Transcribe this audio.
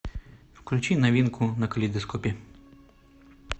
включи новинку на калейдоскопе